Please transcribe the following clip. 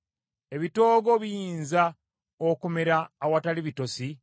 Ebitoogo biyinza okumera awatali bitosi?